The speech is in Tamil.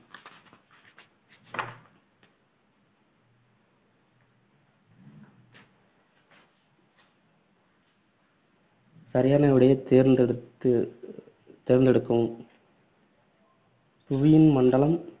சரியான விடையைத் தேர்ந்தெடுத்து தேர்ந்தெடுக்கவும் புவியின் மண்டலம்